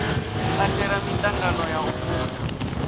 katela miṱangano ya u guda